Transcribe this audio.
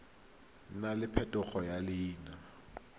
nna le phetogo ya leina